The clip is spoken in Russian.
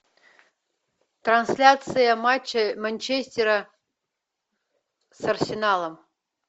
трансляция матча манчестера с арсеналом